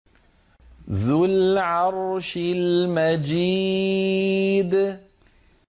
ذُو الْعَرْشِ الْمَجِيدُ